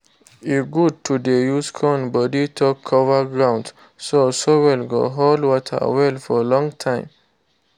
e good to dey use corn body take cover ground so soil go hold water well for long time